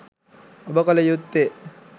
ඔබ කල යුත්තේ